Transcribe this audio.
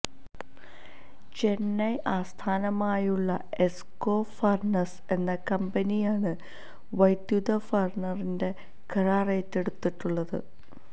ചെന്നൈ ആസ്ഥാനമായുള്ള എസ്ക്കോ ഫര്ണസ് എന്ന കമ്പനിയാണ് വൈദ്യുത ഫര്ണറിന്റെ കരാര് ഏറ്റെടുത്തിട്ടുള്ളത്